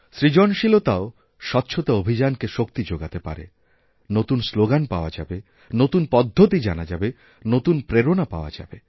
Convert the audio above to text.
সৃজনশীলতাও স্বচ্ছতা অভিযানকে শক্তি যোগাতে পারে নতুন স্লোগানপাওয়া যাবে নতুন পদ্ধতি জানা যাবে নতুন প্রেরণা পাওয়া যাবে